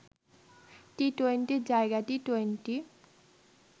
টি-টোয়েন্টির জায়গায় টি-টোয়েন্টি